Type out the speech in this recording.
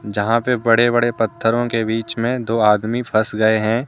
जहां पे बड़े बड़े पत्थरों के बीच मे दो आदमी फंस गए है।